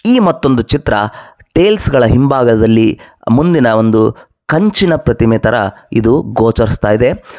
ಈ ಮತ್ತೊಂದು ಚಿತ್ರ ಟೈಲ್ಸ್ ಗಳ ಹಿಂಭಾಗದಲ್ಲಿ ಮುಂದಿನ ಒಂದು ಕಂಚಿನ ಪ್ರತಿಮೆ ತರ ಇದು ಗೋಚರಿಸ್ತಾಯಿದೆ.